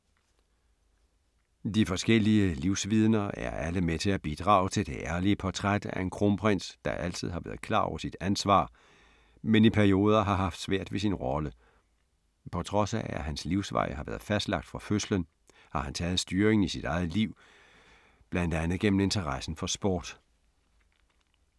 De forskellige livsvidner er alle med til at bidrage til det ærlige portræt af en kronprins, der altid har været klar over sit ansvar, men i perioder har haft svært ved sin rolle. På trods af at hans livsvej har været fastlagt fra fødslen, har han taget styringen i sit eget liv, blandt andet gennem interessen for sport.